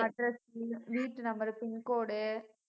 address உ வீட்டு numberpin code உ